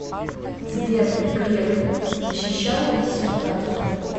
сбер греф защищал диссертацию